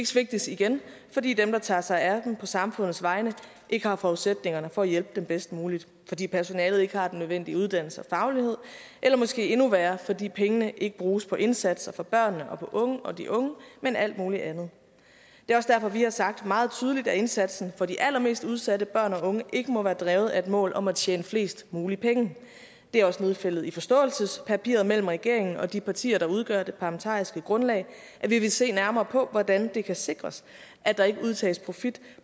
svigtes igen fordi dem der tager sig af dem på samfundets vegne ikke har forudsætningerne for at hjælpe dem bedst muligt fordi personalet ikke har den nødvendige uddannelse og faglighed eller måske endnu værre fordi pengene ikke bruges på indsatser for børnene og de unge men alt muligt andet det er også derfor vi har sagt meget tydeligt at indsatsen for de allermest udsatte børn og unge ikke må være drevet af et mål om at tjene flest muligt penge det er også nedfældet i forståelsespapiret mellem regeringen og de partier der udgør det parlamentariske grundlag at vi vil se nærmere på hvordan det kan sikres at der ikke udtages profit